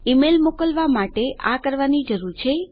email મોકલવાં માટે આપણે આ કરવાની જરૂર છે